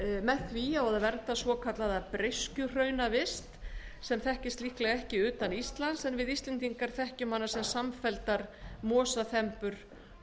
með því á að vernda svokallaða breiskjuhraunavist sem þekkist líklega ekki utan íslands en við íslendingar þekkjum sem samfelldar mosaþembur á